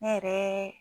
Ne yɛrɛ